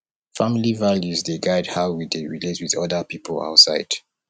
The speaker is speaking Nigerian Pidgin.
family values dey guide how we dey relate with oda pipo outside